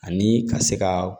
Ani ka se ka